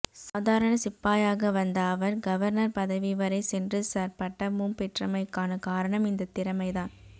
சாதாரண சிப்பாயாக வந்த அவர் கவர்னர் பதவிவரை சென்று சர் பட்டமும் பெற்றமைக்கான காரணம் இந்தத் திறமைதான்